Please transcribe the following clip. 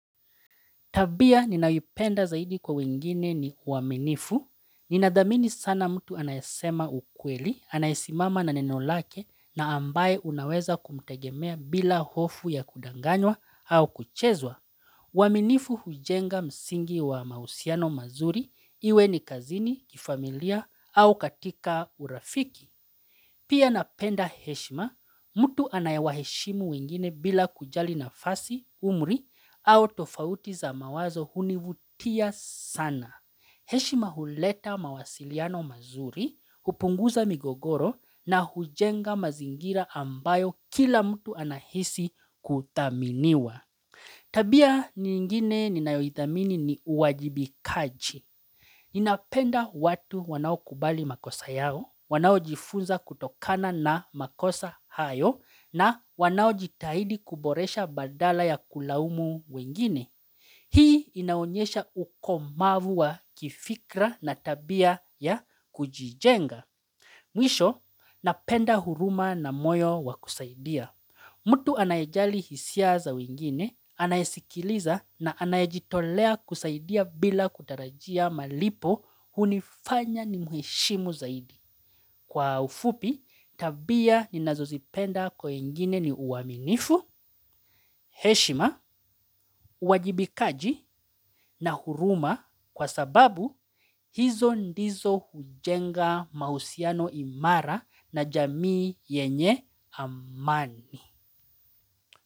Tabia ninayoipenda zaidi kwa wengine ni uaminifu, ninadhamini sana mtu anayasema ukweli, anayesimama na neno lake na ambaye unaweza kumtegemea bila hofu ya kudanganywa au kuchezwa. Uaminifu hujenga msingi wa mahusiano mazuri, iwe ni kazini, kifamilia au katika urafiki. Pia napenda heshima, mtu anayewa heshimu wengine bila kujali nafasi, umri, au tofauti za mawazo hunivutia sana. Heshima huleta mawasiliano mazuri, hupunguza migogoro na hujenga mazingira ambayo kila mtu anahisi kuthaminiwa. Tabia nyingine ninayoithamini ni uwajibikaji. Ninapenda watu wanaokubali makosa yao, wanaojifunza kutokana na makosa hayo na wanaojitahidi kuboresha badala ya kulaumu wengine. Hii inaonyesha ukomavu wa kifikra na tabia ya kujijenga. Mwisho, napenda huruma na moyo wa kusaidia. Mtu anayejali hisia za wengine, anayesikiliza na anayejitolea kusaidia bila kutarajia malipo hunifanya nimheshimu zaidi. Kwa ufupi, tabia ni nazozipenda kwa wengine ni uaminifu, heshima, uwajibikaji na huruma kwa sababu hizo ndizo hujenga mahusiano imara na jamii yenye amani.